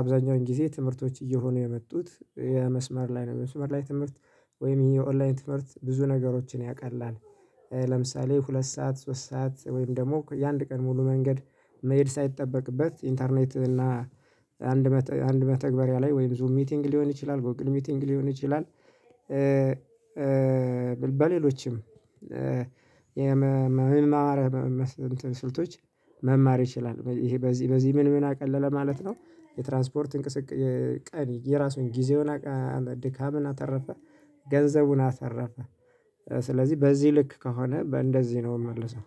አብዛኛውን ጊዜ ትምህርቶች እየሆኑ የመጡት የመስመር ላይ ነው የመስመር ላይ ትምህርት ወይም የኦንላይን ትምህርት ብዙ ነገሮችን ያቃልላል። ለምሳሌ ሁለት ሰዓት ሶስት ሰዓት ወይም ደግሞ የአንድ ቀን ሙሉ መንገድ መሄድ ሳይጠበቅበት ኢንተርኔት እና አንድ አንድ መተግበሪያ ላይ ወይም ዙም ሚቲንግ ሊሆን ይችላል ጎግል ሚቲንግ ሊሆን ይችላል። በሌሎችም የመማርያ ስልቶች መማር ይችላል ይሄ በዚህ በዚህ ምን ምን አቀለለ ማለት ነው። የትራንስፖርት እንቅስቃሴ ቀን የራሱን ጊዜውን አቃለለ ድካምን አተረፈ። ገንዘቡን አሰረፈ። ስለዚህ በዚህ ልክ ከሆነ በእንደዚህ ነው የምመልሰው